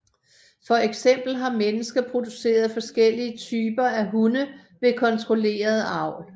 For eksempel har mennesker produceret forskellige typer af hunde ved kontrolleret avl